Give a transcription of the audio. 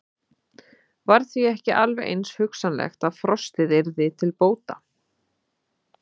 Var því ekki alveg eins hugsanlegt að frostið yrði til bóta?